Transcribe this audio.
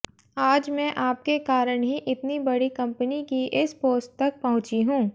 आज मैं आपके कारण ही इतनी बड़ी कंपनी की इस पोस्ट तक पहुंचीं हूं